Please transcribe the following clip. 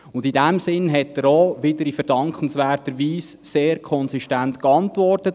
In diesem Sinn hat er auch – wieder in verdankenswerter Weise – sehr konsistent geantwortet.